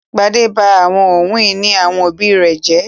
Gbadé ba àwọn ohun-ìní àwọn òbí rẹ̀ jẹ́?